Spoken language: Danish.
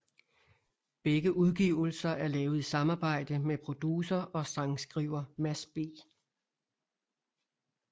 Begge udgivelser er lavet i samarbejde med producer og sangskriver Mads B